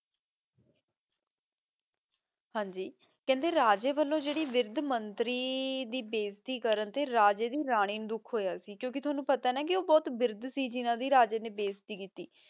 ਹਾਂਜੀ ਕੇਹ੍ਨ੍ਡੇ ਰਾਜੇ ਵਲੋਂ ਜੇਰੀ ਵੇਰਿਧ ਮੰਤਰੀ ਦੀ ਬਾਜ਼ੇਤੀ ਕਰਨ ਤੇ ਰਾਜੇ ਦੀ ਰਾਨੀ ਨੂ ਦੁਖ ਹੋਯਾ ਕ੍ਯੂ ਕੇ ਤੁਹਾਨੂ ਪਤਾ ਯਾ ਨਾ ਊ ਬੋਹਤ ਵਿਰ੍ਧ ਸੀ ਜਿਨਾਂ ਦੀ ਰਾਜੇ ਨੇ ਬਾਜ਼ੇਤੀ ਕੀਤੀ